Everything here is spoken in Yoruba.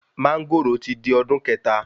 Máńgòrò ti di ọdún kẹta